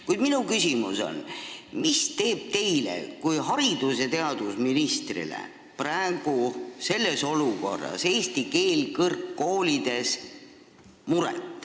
Kuid minu küsimus on, mis teeb teile kui haridus- ja teadusministrile muret praeguses olukorras – eesti keel kõrgkoolides.